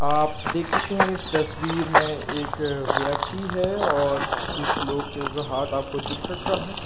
आप देख सकते हैं इस तस्वीर में एक व्यक्ति है और कुछ लोग के ऊपर हाथ आपको दिख सकता है।